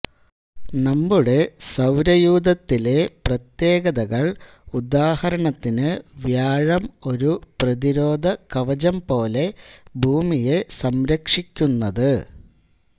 നമ്മുടെ സൌരയൂഥത്തിലെ പ്രത്യേകതകൾ ഉദാഹരണത്തിന് വ്യാഴം ഒരു പ്രധിരോധ കവചം പോലെ ഭൂമിയെ സംരക്ഷിക്കുന്നത്